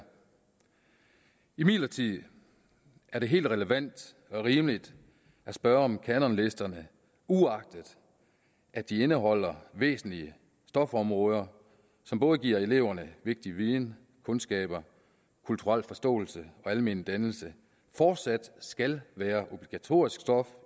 imidlertid helt relevant og rimeligt at spørge om kanonlisterne uagtet at de indeholder væsentlige stofområder som både giver eleverne vigtig viden kundskaber kulturel forståelse og almen dannelse fortsat skal være obligatorisk stof